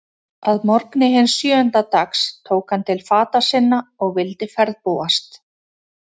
Að morgni hins sjöunda dags tók hann til fata sinna og vildi ferðbúast.